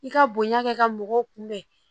I ka bonya kɛ ka mɔgɔw kunbɛn